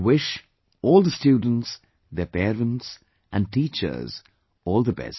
I wish all the students, their parents and teachers all the best